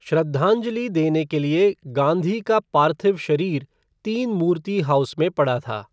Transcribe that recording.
श्रद्धांजलि देने के लिए गांधी का पार्थिव शरीर तीन मूर्ति हाउस में पड़ा था।